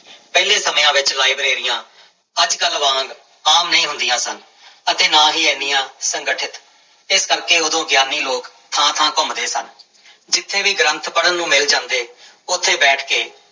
ਪਹਿਲੇ ਸਮਿਆਂ ਵਿੱਚ ਲਾਇਬ੍ਰੇਰੀਆਂ ਅੱਜ ਕੱਲ੍ਹ ਵਾਂਗ ਆਮ ਨਹੀਂ ਹੁੰਦੀਆਂ ਸਨ ਅਤੇ ਨਾ ਹੀ ਇੰਨੀਆਂ ਸੰਗਠਿਤ, ਇਸ ਕਰਕੇ ਉਦੋਂ ਗਿਆਨੀ ਲੋਕ ਥਾਂ ਥਾਂ ਘੁੰਮਦੇੇ ਸਨ ਜਿੱਥੇ ਵੀ ਗ੍ਰੰਥ ਪੜ੍ਹਨ ਨੂੰ ਮਿਲ ਜਾਂਦੇ ਉੱਥੇ ਬੈਠ ਕੇ